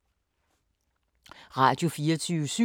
Radio24syv